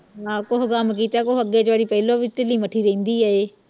ਆ ਕੋਹ ਗਮ ਕੀਤਾ ਕੋਹ ਅੱਗੇ ਜਿਹੜੀ ਪਹਿਲੋ ਵੀ ਢਿਲੀ ਮਠੀ ਰਹਿੰਦੀ